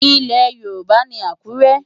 Ilẹ̀ Yorùbá ni Àkúrẹ́.